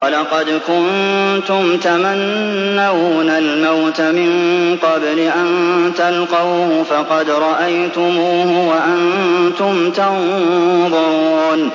وَلَقَدْ كُنتُمْ تَمَنَّوْنَ الْمَوْتَ مِن قَبْلِ أَن تَلْقَوْهُ فَقَدْ رَأَيْتُمُوهُ وَأَنتُمْ تَنظُرُونَ